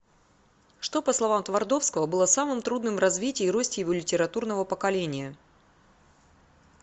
что по словам твардовского было самым трудным в развитии и росте его литературного поколения